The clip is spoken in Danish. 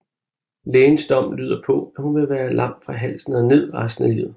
Lægens dom lyder på at hun vil være lam fra halsen og ned resten af livet